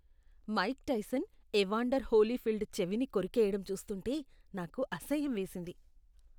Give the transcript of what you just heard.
Mic Tyson Evander Holyfield చెవిని కొరికెయ్యడం చూస్తూంటే నాకు అసహ్యం వేసింది.